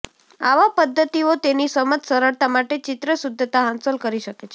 આવા પદ્ધતિઓ તેની સમજ સરળતા માટે ચિત્ર શુદ્ધતા હાંસલ કરી શકે છે